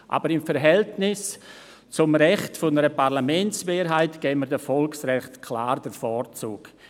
Aber im Verhältnis zum Recht einer Parlamentsmehrheit geben wir den Volksrechten klar den Vorzug.